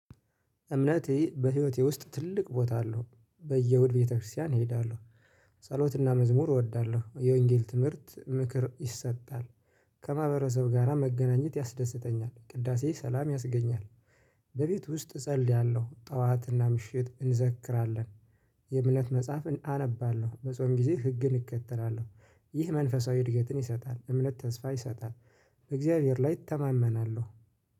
እምነቴ በህይወቴ ውስጥ ትልቅ ቦታ አለው። በየ እሁድ ቤተክርስቲያን እሄዳለሁ። ጸሎትና መዝሙር እወዳለሁ የወንጌል ትምህርት ምክር ይሰጣል። ከማህበረሰብ ጋራ መገናኘት ያስደስተኛል ቅዳሴ ሰላም ያስገኛል። በቤት ውስጥ እጸልያለሁ ጥዋትና ምሽት እንዘክራለን። የዕምነት መጽሐፍን አነባለሁ በጾም ጊዜ ህግን እከተላለሁ። ይህ መንፈሳዊ እድገትን ይሰጣል እምነት ተስፋ ይሰጣል። በእግዚአብሔር ላይ እተማመናለሁ